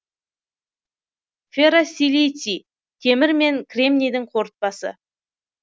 ферросилиций темір мен кремнийдің қорытпасы